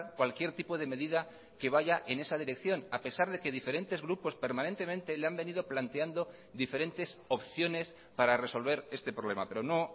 cualquier tipo de medida que vaya en esa dirección a pesar de que diferentes grupos permanentemente le han venido planteando diferentes opciones para resolver este problema pero no